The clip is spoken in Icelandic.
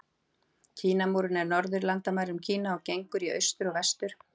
Kínamúrinn er á norðurlandamærum Kína og gengur í austur og vestur.